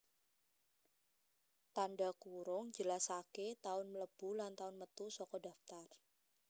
Tandha kurung njelasaké taun mlebu lan taun metu saka daftar